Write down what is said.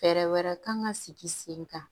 Fɛɛrɛ wɛrɛ kan ka sigi sen kan